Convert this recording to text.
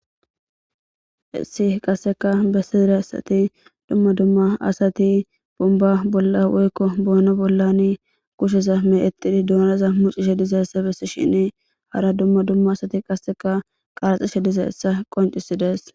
issi qasseka bessedire asati dumma dumma asati bumba bolla woykko boono bollan kusheza me exidi duunaza mucishe dizay essa bessishini hara dumma dumma asati qasseka qaraxishe diza essa qoncisidees